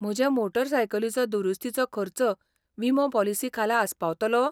म्हजे मोटरसायकलीचो दुरुस्तीचो खर्च विमो पॉलिसी खाला आस्पावतलो?